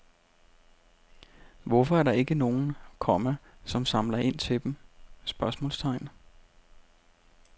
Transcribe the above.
Hvorfor er der ikke nogen, komma som samler ind til dem? spørgsmålstegn